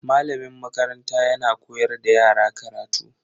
Malamin makaranta yana koyar da yara karatu.